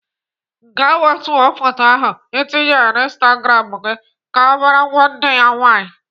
Gaa wetuo photo ahụ Ị tinyere na instagram gị !" Ka ọ bara nwanne ya nwaanyị.